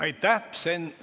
Aitäh!